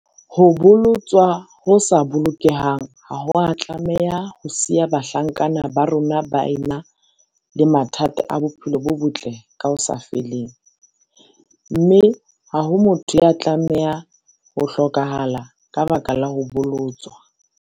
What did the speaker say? Ho bolotswa ho sa bolokehang ha ho a tlameha ho siya bahlankana ba rona ba ena le mathata a bophelo bo botle ka ho sa feleng, mme ha ho motho ya tlameha ho hlokahala ka lebaka la ho bolotswa.